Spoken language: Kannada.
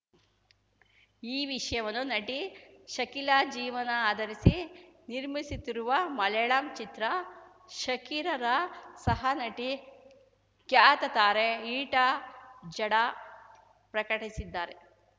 ಈ ವಿಷಯವನ್ನು ನಟಿ ಶಕೀಲಾ ಜೀವನ ಆಧರಿಸಿ ನಿರ್ಮಿಸುತ್ತಿರುವ ಮಲೆಯಾಳಂ ಚಿತ್ರ ಶಕೀಲಾರ ಸಹನಟಿ ಖ್ಯಾತ ತಾರೆ ರೀಟಾ ಜಡಾ ಪ್ರಕಟಿಸಿದ್ದಾರೆ